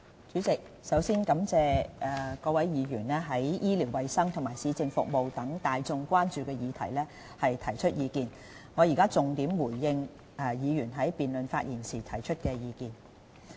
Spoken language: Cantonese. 主席，首先感謝各位議員對醫療衞生及市政服務等大眾關注議題所提出的意見，我現在重點回應議員在辯論發言時提出的意見。